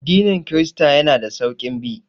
Addinin kirista yana da sauƙin bi